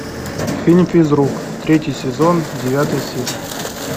фильм физрук третий сезон девятая серия